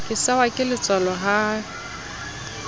ke sehwa ke letswalo ha